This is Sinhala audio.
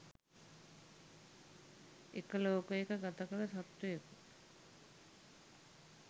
එක ලෝකයක ගත කළ සත්වයකු,